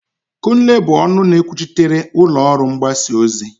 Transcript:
Kunle bụ ọnụ na-ekwuchitere ụlọ ọrụ mgbasa ozi.